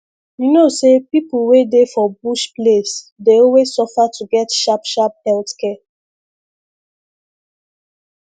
you know say people wey dey for bush place dey always suffer to get sharp sharp health care